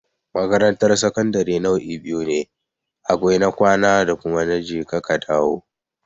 Makarantar sakandare nau'i biyu ne, akwai na kwana da kuma na je ka ka dawo.